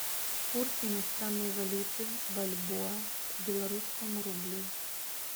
курс иностранной валюты бальбоа к белорусскому рублю